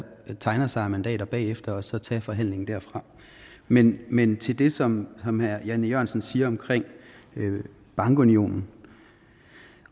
tegner sig af mandater bagefter og så tage forhandlingen derfra men men til det som som herre jan e jørgensen siger om bankunionen